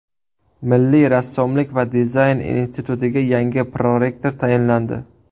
Milliy rassomlik va dizayn institutiga yangi prorektor tayinlandi.